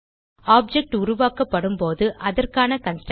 object உருவாக்கப்படும்போது அதற்கான constructor